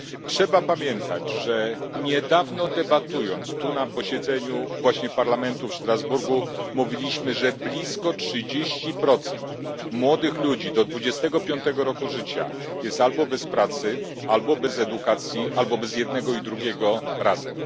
Trzeba pamiętać, że niedawno debatując tu na posiedzeniu właśnie Parlamentu w Strasburgu, mówiliśmy, że blisko 30 procent młodych ludzi do 25 roku życia jest albo bez pracy, albo bez edukacji, albo bez jednego i drugiego razem.